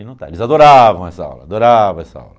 E não está. Eles adoravam essa aula, adoravam essa aula.